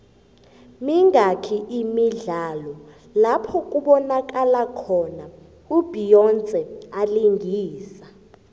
mingaki imidlalo lapho kubonakalo khona u beyonce alingisa